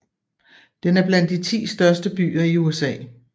Den er blandt de ti største byer i USA